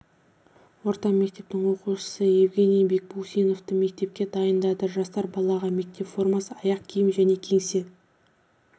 орта мектебінің оқушысы евгений бекбусиновты мектепке дайындады жасар балаға мектеп формасы аяқ киім және кеңсе